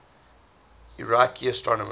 iraqi astronomers